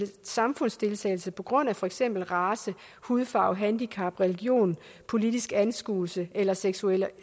samfundsdeltagelse på grund af for eksempel race hudfarve handicap religion politisk anskuelse eller seksuel